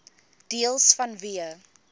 deels vanweë